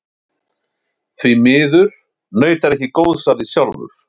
Því miður naut hann ekki góðs af því sjálfur.